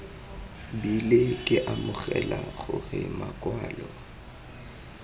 bile ke amogela gore makwalo